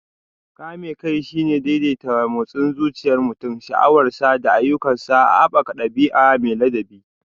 Kame kai shine daidaita motsin zuciyar mutum, sha'awarsa, da ayyukansa, haɓaka ɗabi'a mai ladabi.